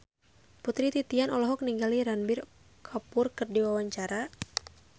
Putri Titian olohok ningali Ranbir Kapoor keur diwawancara